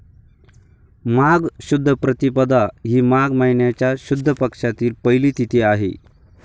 माघ शुद्ध प्रतिपदा ही माग महिन्याच्या शुद्ध पक्षातील पहिली तिथी आहे